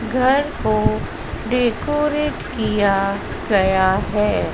घर को डेकोरेट किया गया है।